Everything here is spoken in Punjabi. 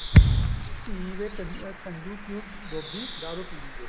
ਧੀ ਵੇ ਕੰਜੂ ਕਿਉਂ ਡੋਬੀ ਦਾਰੂ ਪੀਣੀ ਵੇ